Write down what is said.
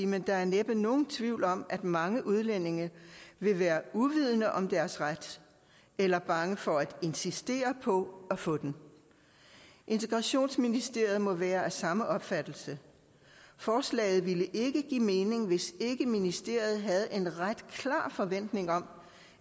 men der er næppe nogen tvivl om at mange udlændinge vil være uvidende om deres ret eller bange for at insistere på at få den integrationsministeriet må være af samme opfattelse forslaget ville ikke give mening hvis ikke ministeriet havde en ret klar forventning om